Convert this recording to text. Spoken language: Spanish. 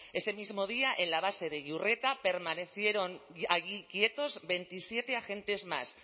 ese mismo día en la base de iurreta permanecieron allí quietos veintisiete agentes más